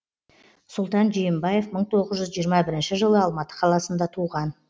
сұлтан жиенбаев мың тоғыз жүз жиырма бірінші жылы алматы қаласында туған